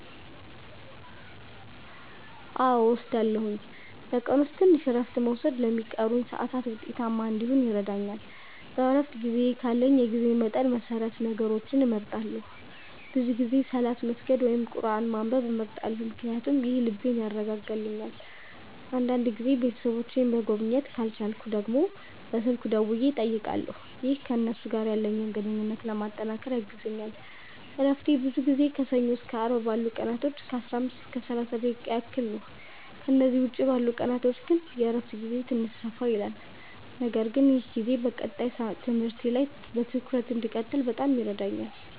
አዎ እወስዳለሁኝ፤ በቀን ውስጥ ትንሽ እረፍት መውሰድ ለሚቀሩኝ ሰዓታት ውጤታማ እንዲሆን ይረዳኛል። በእረፍት ጊዜዬ ካለኝ የጊዜ መጠን መሰረት ነገሮችን እመርጣለሁ፤ ብዙ ጊዜ ሰላት መስገድ ወይም ቁርአን ማንበብ እመርጣለሁ ምክንያቱም ይህ ልቤን ያረጋጋልኛል። አንዳንድ ጊዜም ቤተሰቦቼን መጎብኘት ካልቻልኩ ደግሞ በስልክ ደውዬ እጠይቃለሁ፣ ይህም ከእነሱ ጋር ያለኝን ግንኙነት ለማጠናከር ያግዘኛል። እረፍቴ ብዙ ጊዜ ከሰኞ እስከ አርብ ባሉት ቀናቶች ከ15 እስከ 30 ደቂቃ ያህል ነው፤ ከእነዚህ ውጭ ባሉት ቀናቶች ግን የእረፍት ጊዜዬ ትንሽ ሰፋ ይላል። ነገር ግን ይህ ጊዜ በቀጣይ ትምህርቴ ላይ በትኩረት እንድቀጥል በጣም ይረዳኛል።